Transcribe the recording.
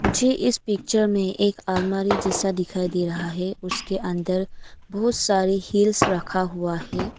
मुझे इस पिक्चर में एक अलमारी जैसा दिखाई दे रहा है उसके अंदर बहुत सारी हिल्स रखा हुआ है।